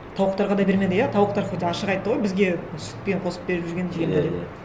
тауықтарға да бермеді иә тауықтар хоть ашық айтты ғой бізге сүтпен қосып беріп жүрген жемді деп иә иә